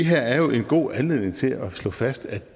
her er jo en god anledning til at slå fast at